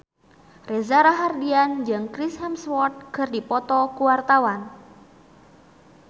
Reza Rahardian jeung Chris Hemsworth keur dipoto ku wartawan